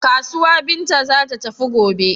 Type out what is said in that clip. Kasuwa Binta za ta tafi gobe.